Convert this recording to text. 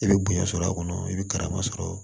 I bɛ bonya sɔrɔ a kɔnɔ i bɛ karama sɔrɔ